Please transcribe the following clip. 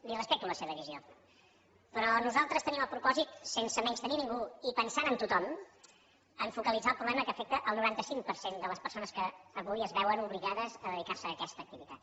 li respecto la seva visió però nosaltres tenim el propòsit sense menystenir ningú i pensant en tothom a focalitzar el problema que afecta el noranta cinc per cent de les persones que avui es veuen obligades a dedicar se a aquesta activitat